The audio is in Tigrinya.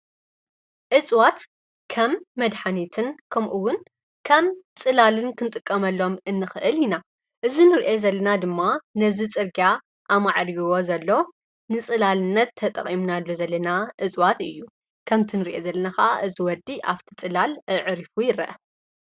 እፅዋት ከም መድኃኔትን ከምኡውን ከም ጽላልን ክንጥቀመሎም እንኽእል ኢና፡፡ እዚ ንሪኦ ዘለና ድማ ነዝ ጽርግያ ኣማዕሪዎ ዘሎ ንጽላልነት ተጠቒምናሉ ዘለና እፅዋት እዩ፡፡ ከምቲንርእዮ ዘለና ኸዓ እዚ ወዲ ኣፍቲ ጽላል ኣዕሪፉ ይረአ፡፡